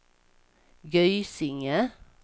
Gysinge